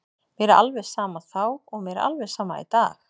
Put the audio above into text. Mér var alveg sama þá og mér er alveg sama í dag.